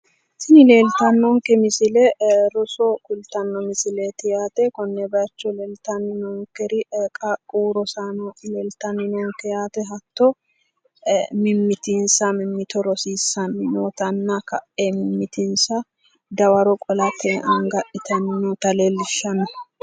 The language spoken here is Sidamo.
Tini leeltannonke misile roso kultanno yaate konne bayiicho leeltanni noonkeri qaaqquwu rosaano leeltanni noonke yaate hatto mimmitinsa mimmito rosiissanni nootanna ka'e mimmitinsa dawaro qolate anga adhitanni noota leellishshanno.